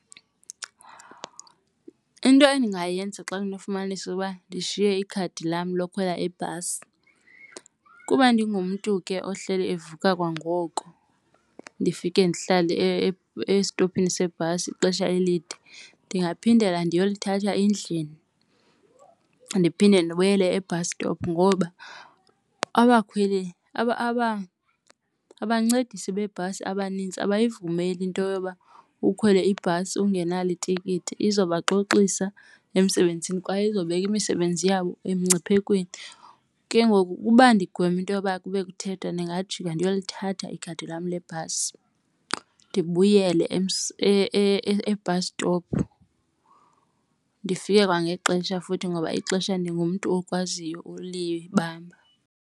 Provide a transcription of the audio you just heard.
Into endingayenza xa ndinofumanisa ukuba ndishiye ikhadi lam lokhwela ibhasi kuba ndingumntu ke ohleli evuka kwangoko, ndifike ndihlale esitophini sebhasi ixesha elide, ndingaphindela ndiyolithatha endlini ndiphinde ndibuyele e-bus stop. Ngoba abakhweli abancedisi beebhasi abanintsi abayivumeli into yoba ukhwele ibhasi ungenalo itikiti izobaxoxisa emsebenzini kwaye izawubeka imisebenzi yabo emngciphekweni. Ke ngoku ukuba ndigweme into yoba kube kuthethwa ndingajika ndiyolithatha ikhadi lam lebhasi ndibuyele e-bus stop ndifike kwangexesha futhi ngoba ixesha ndingumntu okwaziyo ulibamba.